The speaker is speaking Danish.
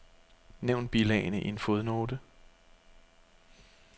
Nævn bilagene i en fodnote.